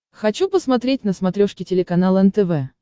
хочу посмотреть на смотрешке телеканал нтв